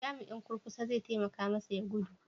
Jami'in kurkusa zai taimaka masa ya gudu?